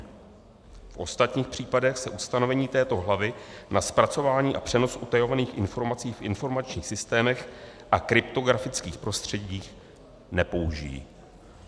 V ostatních případech se ustanovení této hlavy na zpracování a přenos utajovaných informací v informačních systémech a kryptografických prostředcích nepoužijí.